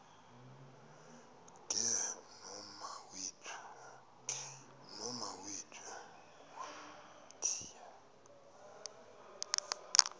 ke nomawethu wamthiya